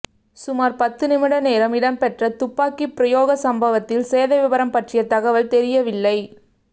சுமார் பத்து நிமிட நேரம் இடம்பெற்ற துப்பாக்கிப்பிரயோக சம்பவத்தில் சேதவிபரம் பற்றிய தகவல் தெரியவில்லை